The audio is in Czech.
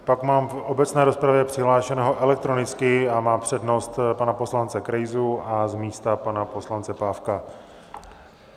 Pak mám v obecné rozpravě přihlášeného elektronicky - a má přednost - pana poslance Krejzu a z místa pana poslance Pávka.